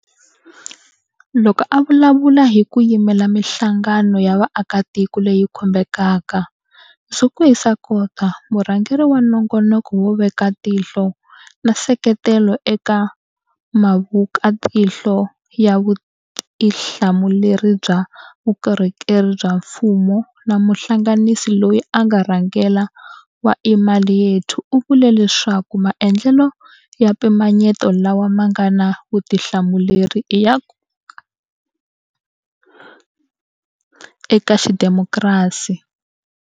Loko a vulavula hi ku yimela mihlangano ya vaakatiko leyi khumbekaka, Zukiswa Kota, murhangeri wa Nongonoko wo Veka Tihlo na Nseketelo eka Muvekatihlo wa Vutihla muleri bya Vukorhokeri bya Mfumo na muhlanganisi loyi a nga rhangela wa Imali Yethu u vule leswaku maendlelo ya mpimanyeto lawa ma nga na vutihlamuleri i ya nkoka eka xidemokirasi.